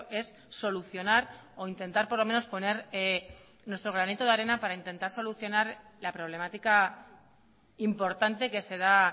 es solucionar o intentar por lo menos poner nuestro granito de arena para intentar solucionar la problemática importante que se da